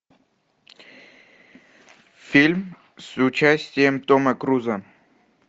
фильм с участием тома круза